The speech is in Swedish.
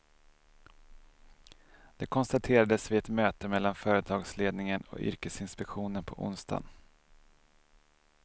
Det konstaterades vid ett möte mellan företagsledningen och yrkesinspektionen på onsdagen.